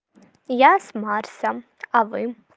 я с марсом а вы